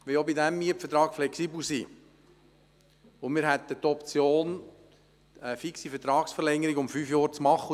Wir wollen auch bei diesem Mietvertrag flexibel sein und hätten die Option, eine fixe Vertragsverlängerung um fünf Jahre zu machen.